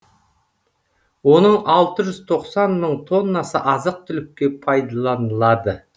оның алты жүз тоқсан мың тоннасы азық түлікке пайдыланылады